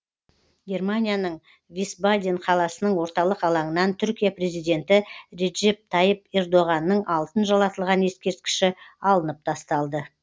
германияның висбаден қаласының орталық алаңынан түркия президенті реджеп тайып ердоғанның алтын жалатылған ескерткіші алынып тасталды